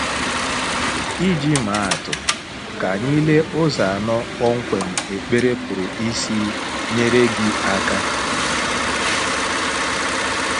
Iji maa atụ, ka anyị lee ụzọ anọ kpọmkwem ekpere pụrụ isi nyere gị aka.